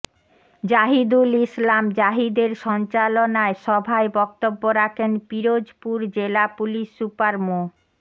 জাহিদুল ইসলাম জাহিদের সঞ্চালনায় সভায় বক্তব্য রাখেন পিরোজপুর জেলা পুলিশ সুপার মো